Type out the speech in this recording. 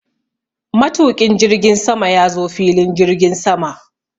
Matuƙin jirgin sama ya zo filin jirgin sama.